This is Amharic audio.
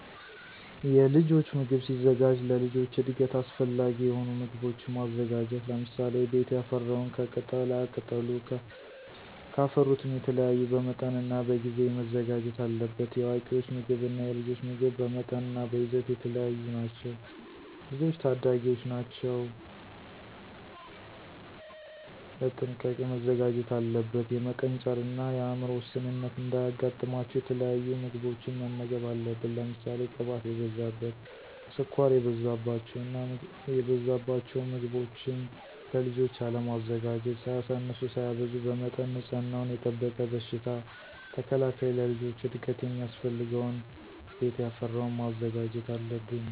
የልጆች ምግብ ሲዘጋጅ ለልጆች እድገት አሰፈላጊ የሆኑ ምጎቦችን ማዘጋጀት ለምሳሌ፦ ቤት ያፈራውን ከቅጣላቅጠሉም ከፍሩትም የተለያዩ በመጠንናበጊዜ መዘጋጀት አለበት። የአዋቂወች ምግብ እና የልጆች ምግብ በመጠንናበይዘት የተለያዩ ናቸው። ልጆች ታዳጊወች ናቸው ቀጥንቃ መዘጋጀት አለበት። የመቀንጨርን የአምሮ ውስንነት እንዳያጋጥማቸው የተለያዩ ምግቦችን መመገብ አለብን። ለምሳሌ ቅባት የበዛበት፣ ስኳር የበዛበቸውን ምገቦችን ለልጆች አለማዘጋጀት። ሳያሳንሱ ሳያበዙ በመጠን ንፅህናወን የጠበቀ በሽታ ተከላካይ ለልጆች እድገት ሚያስፈልገውን ቤት ያፈራወን ማዘጋጀት አለብን።